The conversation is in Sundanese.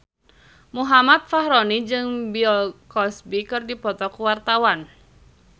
Muhammad Fachroni jeung Bill Cosby keur dipoto ku wartawan